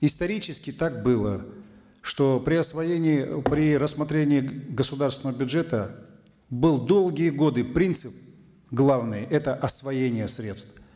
исторически так было что при освоении при рассмотрении государственного бюджета был долгие годы принцип главный это освоение средств